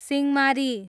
Singhamari